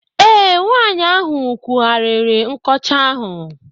Ee, nwaanyị ahụ kwụghariri nkọcha ahụ.